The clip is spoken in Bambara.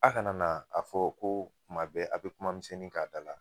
A kana na a fɔ ko tuma bɛɛ a bɛ kumamisɛnnin k'a da la